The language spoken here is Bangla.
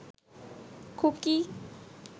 খুকি